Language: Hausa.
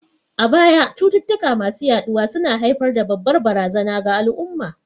A baya, cututtuka masu yaɗuwa su na haifar da babbar barazana ga al'umma.